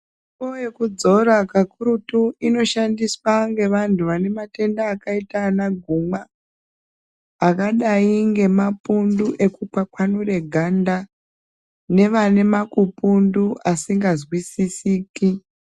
Mitombo yekudzora kakurutu ino shandiswa ngevantu vane matenda akaita ana gumwa, akadai ngemapundu eku kwakwanure ganda, nevane makupundu asika zwisisiki.